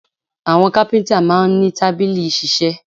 Àwọn kápíntà máa n ní tábìlì ìṣiṣẹ́